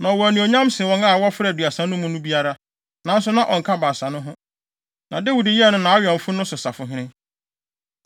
Na ɔwɔ anuonyam sen wɔn a na wɔfra Aduasa no mu no biara, nanso na ɔnka Baasa no ho. Na Dawid yɛɛ no nʼawɛmfo no so sahene.